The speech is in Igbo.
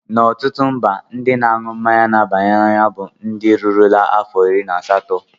Na ọtụtụ mba, ndị na-aṅụ mmanya na-aba n'anya bụ ndị rurula afọ iri na asatọ.